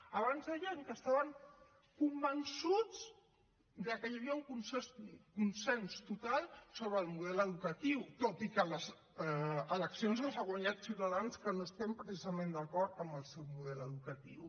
abans deien que estaven convençuts de que hi havia un consens total sobre el model educatiu tot i que les eleccions les ha guanyat ciutadans que no estem precisament d’acord amb el seu model educatiu